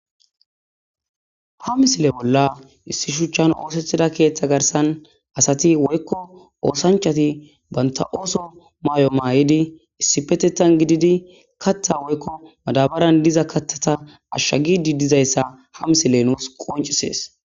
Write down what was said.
ha misile bolla issi shuchchan oosethida keeththa garsan asati woykko oosanchati banta ooso maay7o maa7idi issi petetan gididi katta woykko madabaran diza kattata ashsha gidi dizayssa ha misile nuus qoncisees